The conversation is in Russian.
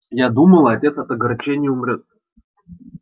я думала отец от огорчения умрёт